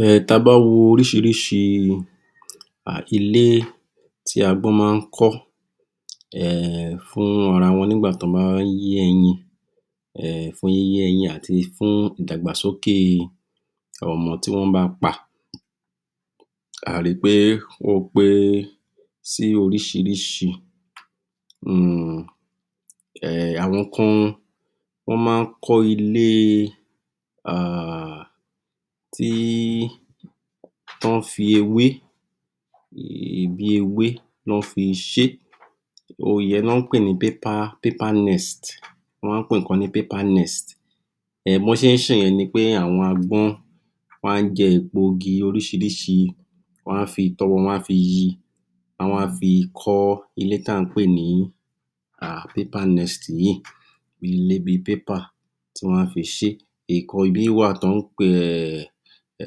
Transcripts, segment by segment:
um tabá wo oríṣiríṣi um ilé tí agbọ́n má ń kọ́ um fún ara wọn nígbà tí wọ́n bá yé ẹyin um fún yíye ẹyin àti fún ìdàgbàsókè ọmọ tí wọ́n bá pa a ri pé ó pé sí oríṣiríṣi um um àwọn kan wọ́n má ń kọ ilé um tí tán fi ewé um bí ewé nọ fi ṣé ìyẹn ni wọ́n ń pè ni [paper] [paper nest] wọ́n má ń pe ìkan ní [paper nest] um bí wọ́n ṣe ń ṣe ìyẹn ni pé àwọn agbọ́n wọ́n á jẹ èpo igi oríṣiríṣi wọ́n á fi itọ́ wọn, wọ́n á fi yi wọ́n a fi kọ́ ilé tí à ń pè ni um [paper nest] yìí ilé bí i pépà tí wọ́n á fi ṣe. Ìkan ibí wa tọ́ ń pe um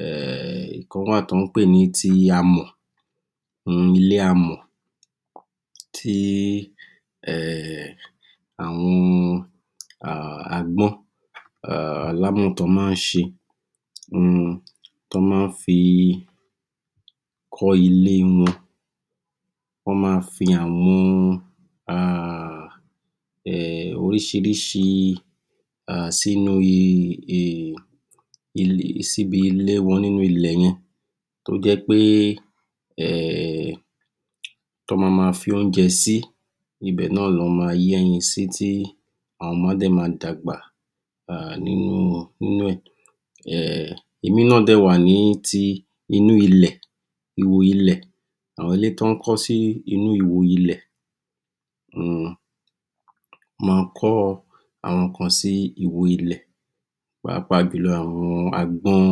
um ìkan wà tán pe ti amọ̀ um ilé amọ̀ tí um àwọn um agbọ́n um alámọ̀ tán má ń ṣe um tán má ń fi kọ́ ilé wọn wọ́n ma fi àwọn um um oríṣiríṣi um sínú síbi ilé wọn nínú ilẹ̀ yẹn to jẹ́ pé um tán ma ma fi oúnjẹ si ibẹ̀ náà ni wọ́n ma yé ẹyin sí tí àwọn ọmọ dẹ̀ máa dàgbà um nínú, nínú ẹ̀ um ìmí náà dẹ̀ wà ní ti inú ilẹ̀ ihò ilẹ̀ àwọn ilé tí wọ́n kọ́ sí inú ihò ilẹ̀ um ma kọ́ àwọn kan sí ihò ilẹ̀ pàápàá jùlọ àwọn agbọ́n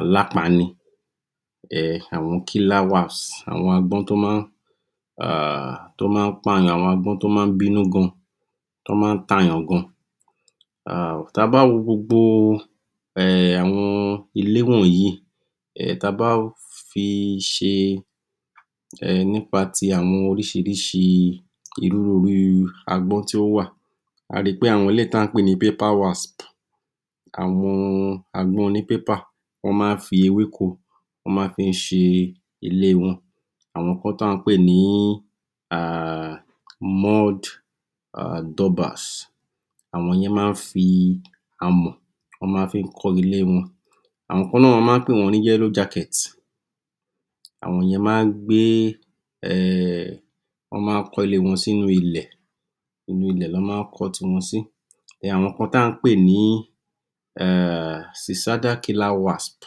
alápàni àwọn [killer wasp] àwọn agbọ́n tó máa ń um tó má ń pa èèyàn, tó má ń bínú gan tó má ń ta èèyàn gan um ta bá wo gbogbo um àwọn ilé wọnyìí um ta bá fi ṣe um nípa ti àwọn oríṣiríṣi irú irú agbọ́n tí ó wà a ri pé àwọn eléyìí tí à ń pè ní [paper wasp] àwọn agbọ́n oní [paper] wọ́n má ń fi ewéko wọ́n máa ń fi ṣe ilé wọn àwọn kan tí à ń pè ní um [mud] [dobbers] àwọn ìyẹn máa ń fi amọ̀ wọ́n ma fí ń kọ́ ilé wọn àwọn kan náà, wọ́n má ń pè wọ́n ní [yellow jacket] àwọn ìyẹn máa ń gbé um wọ́n máa ń kọ́ ilé wọn sí inú ilẹ̀ inú ilẹ̀ lọ́ máa ń kọ́ tiwọn sí àwọn kan tà ń pè ní um [suicidal killer wasp]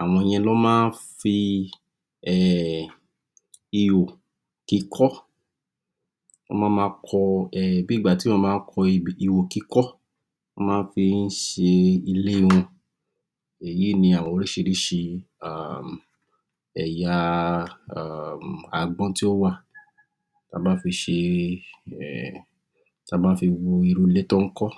àwọn ìyẹn lọ́ má ń fi um ihò kíkọ́ wọ́n ma ma kọ um bí ìgbà tí èèyàn ba kọ ebè, ihò kíkọ́ wọ́n máa ń fí ń ṣe ilé wọn èyí ni àwọn oríṣiríṣi um ẹ̀yà um agbọ́n tó wà ta bá fi ṣe um ta bá fi wo irú ilé tán ń kọ́